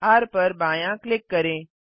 र पर बायाँ क्लिक करें